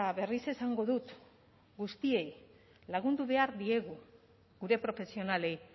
berriz esango dut guztiei lagundu behar diegu gure profesionalei